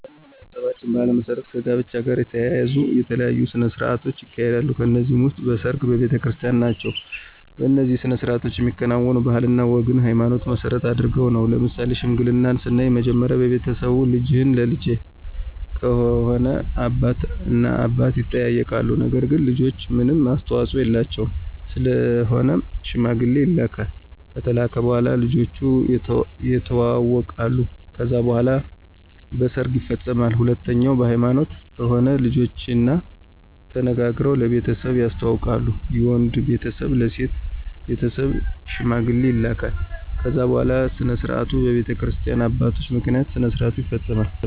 በማኅበረሰባችን ባሕል መሠረት ከጋብቻ ጋር የተያያዙ የተለያዩ ሥነ ሥርዓቶች ይካሄዳሉ ከነዚህም ውስጥ በሰርግ፣ በቤተክርስቲን ናቸው። እነዚህ ሥነ ሥርዓቶች የሚከናወኑት ባህልና ወግንና ሀይማኖትን መሰረት አድርገው ነው። ለምሳሌ ሽምግልናን ስናይ መጀመሪያ በቤተሰብ ልጅህን ለልጀ ከሆነ አባት እና አባት ይጠያይቃሉ ነገር ግን ልጆች ምንም አስተዋፆ የላቸውም ስለሆነም ሽማግሌ ይላካል ከተላከ በኋላ ልጆቹ የተዋወቃሉ ከዛ በኋላ በሰርግ ይፈፀማል። ሁለተኛው በሀይማኖት ከሆነ ልጆችና ተነጋግረው ለቤተሰብ ያስተዋውቃሉ የወንዱ ቤተሰብ ለሴት ቤተሰብ ሽማግሌ ይላካል ከዛ በኋላ ስነስርዓቱ በቤተክርስቲያ አባቶች ምክንያት ስነስርዓቱ ይፈፀማል።